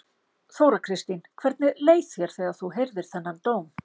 Þóra Kristín: Hvernig leið þér þegar þú heyrðir þennan dóm?